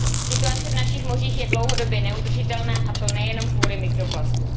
Situace v našich mořích je dlouhodobě neudržitelná a to nejenom kvůli mikroplastům.